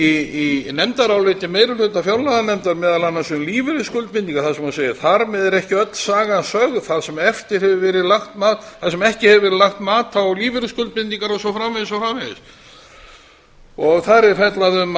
í nefndaráliti meiri hluta fjárlaganefndar meðal annars um lífeyrisskuldbindingar þar sem segir þar með er ekki öll sagan sögð þar sem ekki hefur verið lagt mat á lífeyrisskuldbindingar og svo framvegis þar er fjallað um